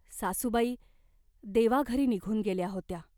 सासूबाई देवाघरी निघून गेल्या होत्या.